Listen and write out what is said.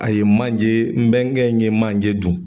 A ye manje n bɛnkɛ in ye manje dun.